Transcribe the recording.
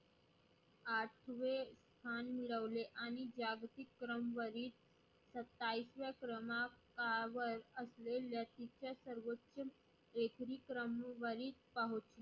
आठवे स्थान मिळवले आणि जागतीक क्रम वरील सत्तावीसव्या क्रमांकावर